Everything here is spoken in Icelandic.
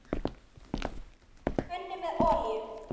Hitið pönnu með olíu.